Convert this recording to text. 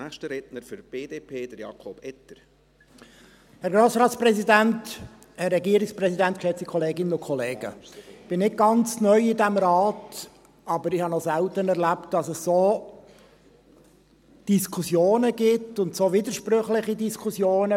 Ich bin nicht ganz neu in diesem Rat, aber ich habe es noch selten erlebt, dass es bei einer Gesetzesberatung solche Diskussionen gibt, solche widersprüchlichen Diskussionen.